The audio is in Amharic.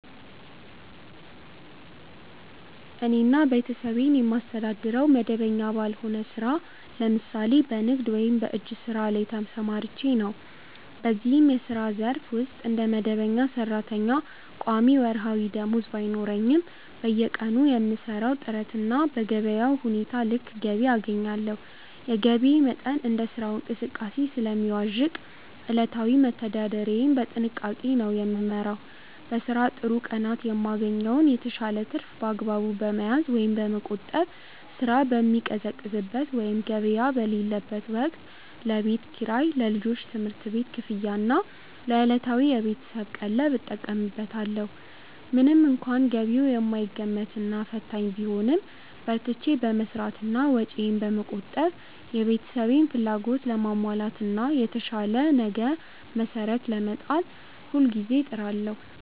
እኔና ቤተሰቤን የማስተዳድረው መደበኛ ባልሆነ ሥራ (ለምሳሌ በንግድ ወይም በእጅ ሥራ) ላይ ተሰማርቼ ነው። በዚህ የሥራ ዘርፍ ውስጥ እንደ መደበኛ ሠራተኛ ቋሚ ወርሃዊ ደመወዝ ባይኖረኝም፣ በየቀኑ በምሠራው ጥረትና በገበያው ሁኔታ ልክ ገቢ አገኛለሁ። የገቢዬ መጠን እንደ ሥራው እንቅስቃሴ ስለሚዋዥቅ፣ ዕለታዊ መተዳደሪያዬን በጥንቃቄ ነው የምመራው። በሥራ ጥሩ ቀናት የማገኘውን የተሻለ ትርፍ በአግባቡ በመያዝ (በመቆጠብ)፣ ሥራ በሚቀዘቅዝበት ወይም ገበያ በሌለበት ወቅት ለቤት ኪራይ፣ ለልጆች ትምህርት ቤት ክፍያና ለዕለታዊ የቤተሰብ ቀለብ እጠቀምበታለሁ። ምንም እንኳን ገቢው የማይገመትና ፈታኝ ቢሆንም፣ በርትቼ በመሥራትና ወጪዬን በመቆጠብ የቤተሰቤን ፍላጎት ለማሟላትና ለተሻለ ነገ መሠረት ለመጣል ሁልጊዜ እጥራለሁ።